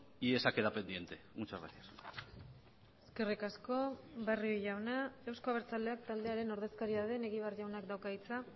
y esa queda pendiente muchas gracias eskerrik asko barrio jauna euzko abertzaleak taldearen ordezkaria den egibar jaunak dauka hitza